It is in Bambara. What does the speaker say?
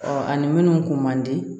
ani minnu kun man di